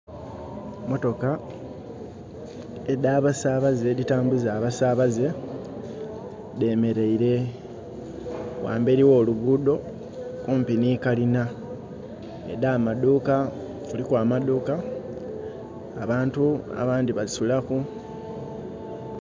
Emotoka edha basabaze edhi tambuza abasabaze dhemereire ghamberi gho luguudo kumpi nhi kalina edha maduuka, kuliku amaduuka, abandhi basulaku.